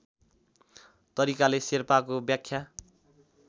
तरिकाले शेर्पाको व्याख्या